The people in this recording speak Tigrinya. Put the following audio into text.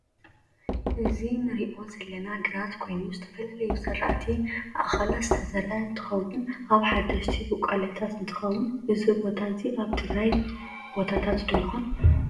እዚ ንርኦ ዘለና ግራት ኮይኑ ዝተፈላለዩ ዝርኣቲ እእካላት ዝተዘርእ ንትከውን ኣብ ሐዳሽቲ ቡቃሊያታት እንትከውን እዚ ቦታ እዚ ኣብ ናይ ትግራይ ቦታታት ዶ ይኮን?